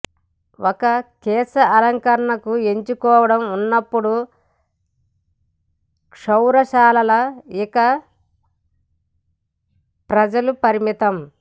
ఒక కేశాలంకరణకు ఎంచుకోవడం ఉన్నప్పుడు క్షౌరశాలలు ఇక ప్రజలు పరిమితం